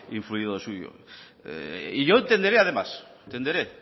influido lo suyo y yo tenderé además tenderé